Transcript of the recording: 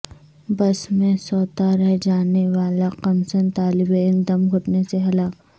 بس میں سوتا رہ جانے والا کمسن طالب علم دم گھٹنے سے ہلاک